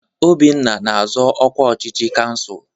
Obinna na-azọ ọkwa ọchịchị kansụl.